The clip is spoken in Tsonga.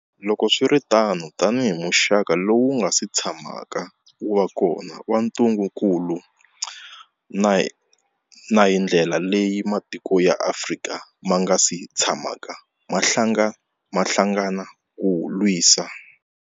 Loko swi ri tano, tanihi muxaka lowu wu nga si tshamaka wu va kona wa ntungukulu, na hi ndlela leyi matiko ya Afrika ma nga si tshamaka ma hlangana ku wu lwisa.